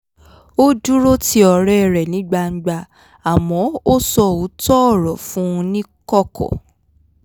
ó dúró ti ọ̀rẹ́ rẹ̀ ní gbangba àmọ́ ó sọ òótọ́ ọ̀rọ̀ fún un ní kọ̀kọ̀